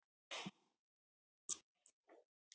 Þau efni verða mjög björt og glóandi þegar þau hitna.